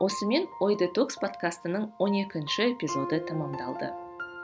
осымен ой детокс подкастының он екінші эпизоды тәмамдалды